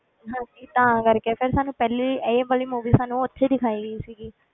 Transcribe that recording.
ਹਾਂਜੀ ਤਾਂ ਕਰਕੇ ਫਿਰ ਸਾਨੂੰ ਪਹਿਲੇ ਹੀ ਇਹ ਵਾਲੀ movie ਸਾਨੂੰ ਉੱਥੇ ਹੀ ਦਿਖਾਈ ਗਈ ਸੀਗੀ,